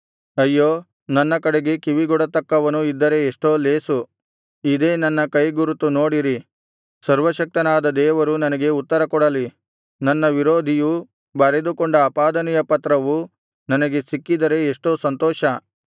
ಅಯ್ಯೋ ನನ್ನ ಕಡೆಗೆ ಕಿವಿಗೊಡತಕ್ಕವನು ಇದ್ದರೆ ಎಷ್ಟೋ ಲೇಸು ಇದೇ ನನ್ನ ಕೈಗುರುತು ನೋಡಿರಿ ಸರ್ವಶಕ್ತನಾದ ದೇವರು ನನಗೆ ಉತ್ತರಕೊಡಲಿ ನನ್ನ ವಿರೋಧಿಯು ಬರೆದುಕೊಂಡ ಅಪಾದನೆಯ ಪತ್ರವು ನನಗೆ ಸಿಕ್ಕಿದರೆ ಎಷ್ಟೋ ಸಂತೋಷ